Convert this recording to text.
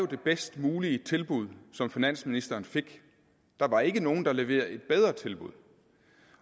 det bedst mulige tilbud som finansministeren fik der var ikke nogen der leverede et bedre tilbud